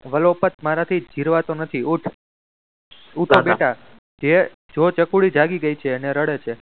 વલોપત મારાથી જિરવાતું નથી ઊઠ ઉઠો બેટા જે જો ચકુડી જાગી ગઈ છે અને રડે છે.